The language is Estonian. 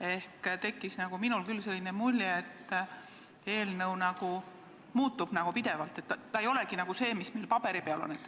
Ehk minul tekkis küll selline mulje, et eelnõu muutub pidevalt, et ta ei olegi see, mis siin paberi peal on.